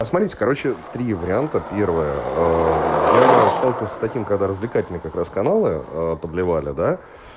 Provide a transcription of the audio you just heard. посмотрите короче три варианта первая я сталкивался с таким когда развлекательные как раз каналы подливали да